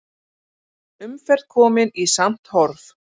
Umferð komin í samt horf